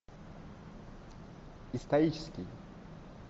исторический